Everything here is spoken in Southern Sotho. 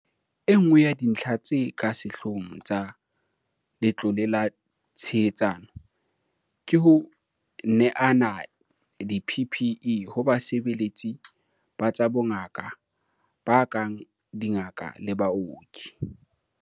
Enngwe ya dintlha tse ka sehloohong tsa Letlole la Tshehetsano ke ho neana di-PPE ho basebeletsi ba tsa bongaka ba kang dingaka le baoki.